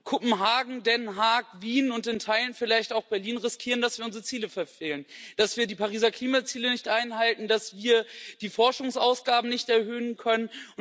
Kopenhagen, Den Haag, Wien und in Teilen vielleicht auch Berlin riskieren, dass wir unsere Ziele verfehlen, dass wir die Pariser Klimaziele nicht erreichen, dass wir die Forschungsausgaben nicht erhöhen können.